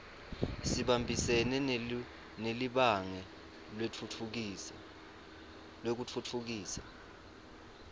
sibambisene nelibhange lekutfutfukisa